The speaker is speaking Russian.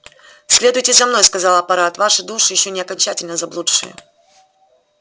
следуйте за мной сказал апорат ваши души ещё не окончательно заблудшие